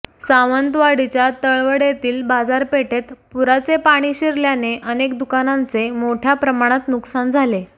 सावंतवाडीच्या तळवडेतील बाजारपेठेत पुराचे पाणी शिरल्याने अनेक दुकानांचे मोठ्या प्रमाणात नुकसान झाले